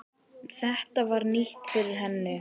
Þetta var nýtt fyrir henni.